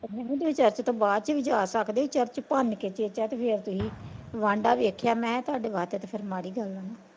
Church ਤੋਂ ਬਾਅਦ ਚ ਵੀ ਜਾ ਸਕਦੇ ਐ ਚਰਚ ਭੰਨ ਕੇ ਤੁਸੀਂ ਵਾਂਡਾ ਵੀ ਵੇਖਿਆ ਤੁਹਾਡੇ ਵਾਸਤੇ ਤਾਂ ਮਾੜੀ ਗੱਲ ਆ ਨਾ।